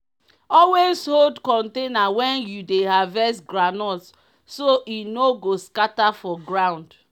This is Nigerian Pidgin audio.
always hold container when you dey harvest groundnut so e no go scatter for ground.